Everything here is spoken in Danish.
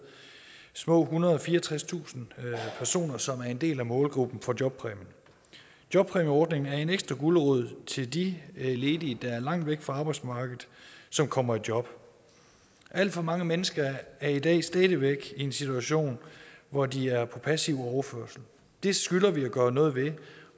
små ethundrede og fireogtredstusind personer som er en del af målgruppen for jobpræmien jobpræmieordningen er en ekstra gulerod til de ledige der er langt væk fra arbejdsmarkedet som kommer i job alt for mange mennesker er i dag stadig væk i en situation hvor de er på passiv overførsel det skylder vi at gøre noget ved